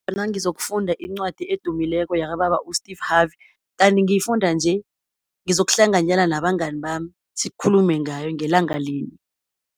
Nangizokufunda incwadi edumileko yakababa u-Steve Harvey, kanti ngiyifunda nje, ngizokuhlanganyela nabangani bami, sikhulume ngayo ngelanga linye.